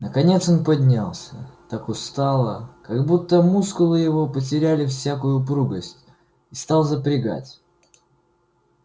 наконец он поднялся так устало как будто мускулы его потеряли всякую упругость и стал запрягать